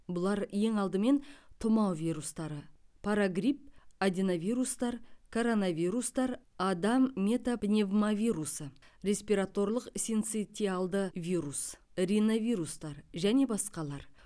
бұлар ең алдымен тұмау вирустары парагрипп аденовирустар коронавирустар адам метапневмовирусы респираторлық синцитиалды вирус риновирустар және басқалар